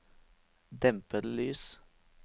dempede lys